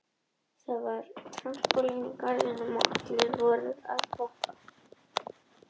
Það var svalt þótt enn væri ágúst og mamma setti miðstöðina á.